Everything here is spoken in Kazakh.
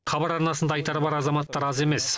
хабар арнасында айтары бар азаматтар аз емес